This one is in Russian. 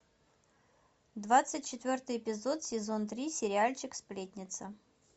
двадцать четвертый эпизод сезон три сериальчик сплетница